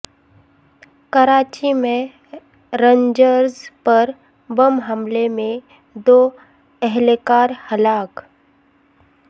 کراچی میں رینجرز پر بم حملے میں دو اہلکار ہلاک